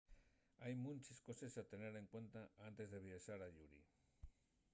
hai munches coses a tener en cuenta antes de viaxar ayuri